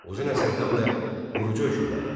Uzun Həsən həm də qurucu hökmdar idi.